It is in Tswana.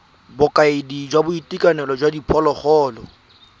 bokaedi jwa boitekanelo jwa diphologolo